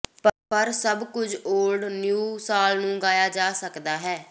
ਪਰ ਸਭ ਕੁਝ ਓਲਡ ਨਿਊ ਸਾਲ ਨੂੰ ਗਾਇਆ ਜਾ ਸਕਦਾ ਹੈ